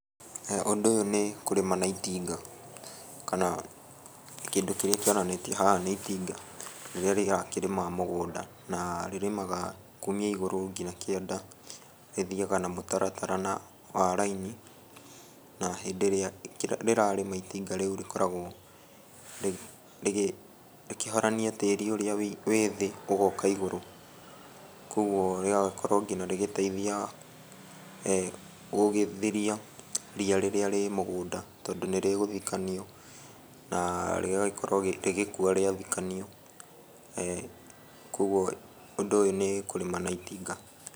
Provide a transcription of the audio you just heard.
Ũndũ ũyũ nĩ kũrĩma na itinga, kana kĩndũ kĩrĩa kĩonanĩtio haha nĩ itinga rĩrĩa rĩrakĩrĩma mũgũnda na rĩrĩmaga kumia igũrũ kinya kĩanda. Rĩthiaga na mũtaratara wa raini na hĩndĩ ĩrĩa rĩrarĩma itinga rĩu rĩkoragwo rĩkĩhorania tĩri ũrĩa wĩ thĩ ũgoka igũrũ, kuoguo rĩgagĩkorwo nginya rĩgĩteitha gũgĩthiria ria rĩrĩa rĩ mũngũnda tondũ nĩrĩgũthikanio na rĩgagĩkorwo rĩgĩkua rĩathikanio, kuoguo ũndũ ũyũ nĩ kũrĩma na itinga.